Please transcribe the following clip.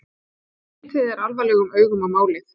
Litið er alvarlegum augum á málið